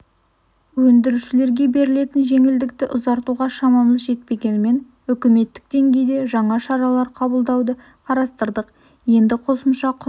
өндірушілерге берілетін жеңілдікті ұзартуға шамамыз жетпегенімен үкіметтік деңгейде жаңа шаралар қабылдауды қарастырдық енді қосымша құн